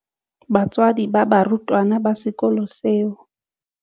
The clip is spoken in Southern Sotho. Batswadi ba barutwana ba sekolo seo.